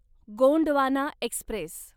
Gondwana Express